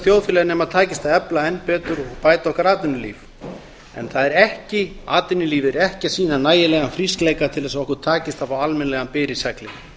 þjóðfélagi nema takist að efla enn betur og bæta okkar atvinnulíf en atvinnulífið er ekki að sýna nægilegan frískleika til þess að okkur takist að fá almennilegan byr í seglin